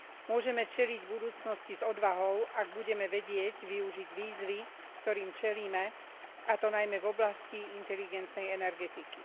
Môžeme čeliť budúcnosti s odvahou, ak budeme vedieť využiť výzvy, ktorým čelíme, a to najmä v oblasti inteligentnej energetiky.